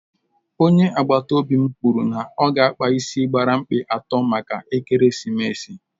Onye agbata obi m kwụrụ na ọ ga-akpa ịsị gbara mkpị atọ maka ekeresimesi